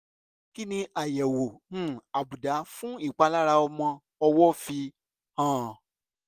kí ni àyẹ̀wò um àbùdá fún ìpalára ọmọ ọwọ́ fi hàn?